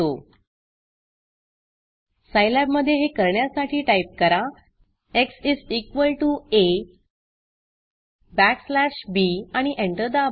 Scilabसाईलॅब मधे हे करण्यासाठी टाईप करा x is equal to a backslash b आणि एंटर दाबा